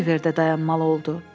Oliver də dayanmalı oldu.